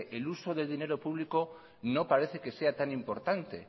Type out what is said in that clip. el uso del dinero público no parece que sea tan importante